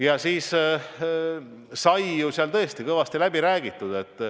Ja siis sai seal tõesti kõvasti läbi räägitud.